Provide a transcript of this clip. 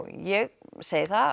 ég segi það